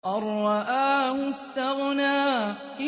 أَن رَّآهُ اسْتَغْنَىٰ